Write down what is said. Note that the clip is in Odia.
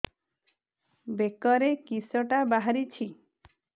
ବେକରେ କିଶଟା ବାହାରିଛି